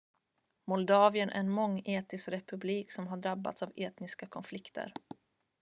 moldavien är en mångetnisk republik som har drabbats av etniska konflikter